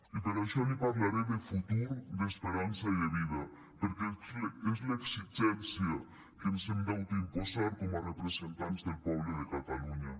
i per això li parlaré de futur d’esperança i de vida perquè és l’exigència que ens hem d’autoimposar com a representants del poble de catalunya